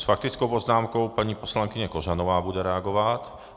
S faktickou poznámkou paní poslankyně Kořanová bude reagovat.